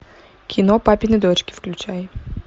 кино папины дочки включай